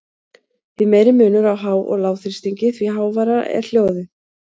Því meiri munur á há- og lágþrýstingi, því háværara er hljóðið.